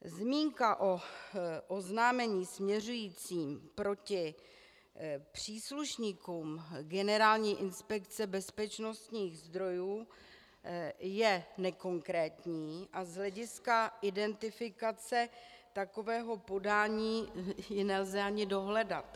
Zmínka o oznámení směřujícím proti příslušníkům Generální inspekce bezpečnostních sborů je nekonkrétní a z hlediska identifikace takového podání ji nelze ani dohledat.